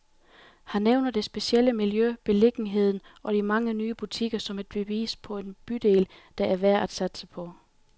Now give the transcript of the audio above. Han nævner det specielle miljø, beliggenheden og de mange nye butikker, som et bevis på en bydel, der er værd at satse på.